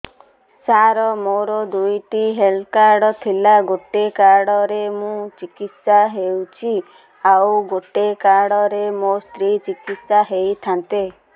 ସାର ମୋର ଦୁଇଟି health card ଥିଲା ଗୋଟେ କାର୍ଡ ରେ ମୁଁ ଚିକିତ୍ସା ହେଉଛି ଆଉ ଗୋଟେ କାର୍ଡ ରେ ମୋ ସ୍ତ୍ରୀ ଚିକିତ୍ସା ହୋଇଥାନ୍ତେ